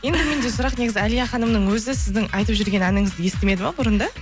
енді менде сұрақ негізі әлия ханымның өзі сіздің айтып жүрген әніңізді естімеді ме бұрында